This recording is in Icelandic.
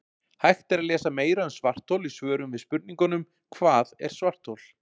Hægt er að lesa meira um svarthol í svörum við spurningunum Hvað er svarthol?